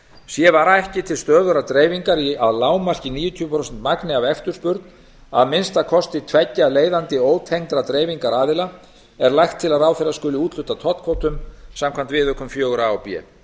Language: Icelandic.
sé vara ekki til stöðugrar dreifingar í að lágmarki níutíu prósent magni af eftirspurn að minnsta kosti tveggja leiðandi ótengdra dreifingaraðila er lagt til að ráðherra skuli úthluta tollkvótum samkvæmt viðaukum iva og b